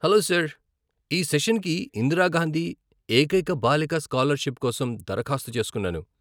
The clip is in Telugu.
హలో సార్, ఈ సెషన్కి ఇందిరా గాంధీ ఏకైక బాలిక స్కాలర్షిప్ కోసం దరఖాస్తు చేసుకున్నాను.